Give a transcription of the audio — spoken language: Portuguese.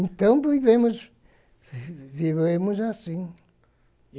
Então, vivemos, vivemos assim.